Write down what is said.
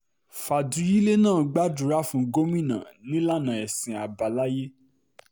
fàdúyílẹ̀ náà gbàdúrà fún gómìnà nílànà ẹ̀sìn àbáláyé